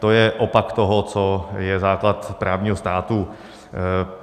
To je opak toho, co je základ právního státu.